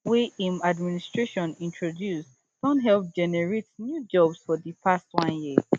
wey im administration introduce don help generate new jobs for di past one year